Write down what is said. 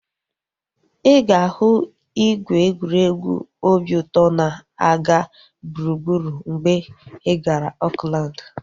Ịga ahu ìgwè egwuregwu obi ụtọ na-aga gburugburu mgbe ị gara Oakland